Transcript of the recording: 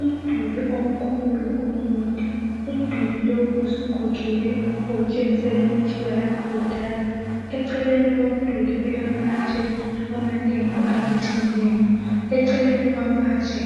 Umduli omkhulu omude umduli lowu usugugile okutshengisela ukuthi wayakhiwa kudala. Eceleni komduli kulamatshe amanengi abutheneyo eceleni kwamatshe